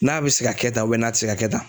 N'a bɛ se ka kɛ tan n'a tɛ se ka kɛ tan.